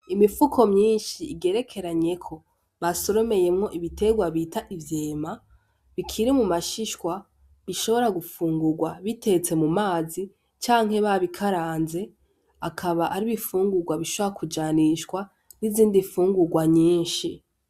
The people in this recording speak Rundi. Imifuko myinshi igerekeranyeko basoromeyemwo ibitegwa bita ivyema bikiri mu mashishwa bishobora gufungugwa bitetse mu mazi canke babi karanze akaba ari ibifungugwa bishobora kujanishwa n' izindi fungugwa nyinshi.